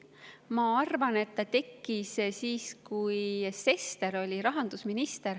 Ma arvan, et see tekkis siis, kui Sester oli rahandusminister.